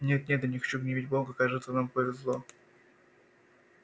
нет нет я не хочу гневить бога кажется нам повезло